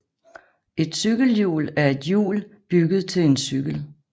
Et cykelhjul er et hjul bygget til en cykel